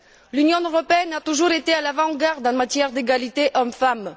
L'Union européenne a toujours été à l'avant garde en matière d'égalité hommes femmes.